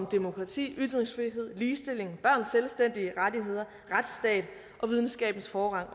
demokrati ytringsfrihed ligestilling børns selvstændige rettigheder retsstat og videnskabens forrang